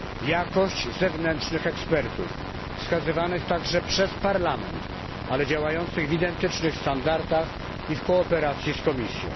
Jakość zewnętrznych ekspertów wskazywanych także przez Parlament, ale działających w identycznych standardach i w kooperacji z Komisją.